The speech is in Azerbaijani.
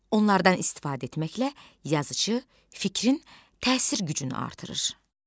Onlardan istifadə etməklə yazıçı fikrin təsir gücünü artırır.